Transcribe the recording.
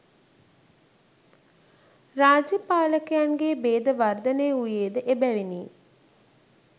රාජ්‍ය පාලකයන්ගේ භේද වර්ධනය වූයේ ද එබැවිනි.